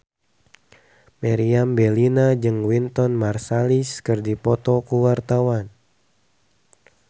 Meriam Bellina jeung Wynton Marsalis keur dipoto ku wartawan